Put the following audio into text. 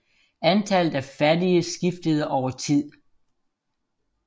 Antallet af fattige skiftede over tid